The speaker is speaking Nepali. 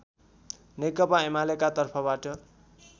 नेकपा एमालेका तर्फबाट